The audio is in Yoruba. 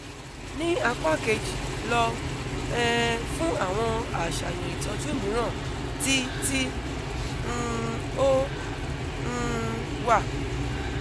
ni apa keji lọ um fun awọn aṣayan itọju miiran ti ti um o um wa